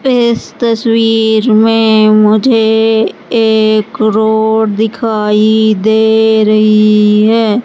इस तस्वीर में मुझे एक रोड दिखाई दे रही है।